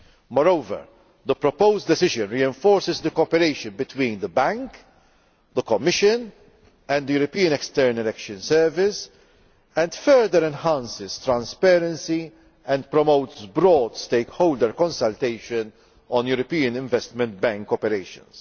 Moreover, the proposed decision reinforces the cooperation between the Bank, the Commission and the European External Action Service and further enhances transparency and promotes broad stakeholder consultation on European Investment Bank operations.